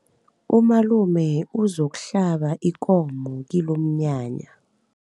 Umalume uzokuhlaba ikomo kilomnyanya.